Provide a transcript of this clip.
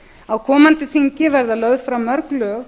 á komandi þingi verða lögð fram mörg lög